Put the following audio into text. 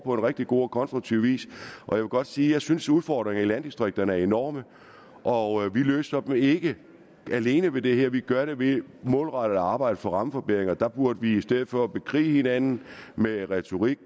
rigtig god og konstruktiv vis jeg vil godt sige at jeg synes udfordringerne i landdistrikterne er enorme og vi løser dem ikke alene ved det her vi gør det ved målrettet at arbejde for rammeforbedringer og der burde vi i stedet for at bekrige hinanden med retorik